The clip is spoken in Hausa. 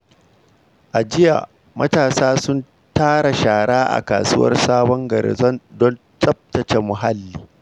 A jiya, matasa sun tara shara a kasuwar Sabon Gari don tsaftace muhalli.